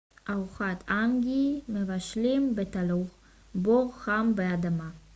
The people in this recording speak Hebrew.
ארוחת האנגי מבשלים בתלור בור חם באדמה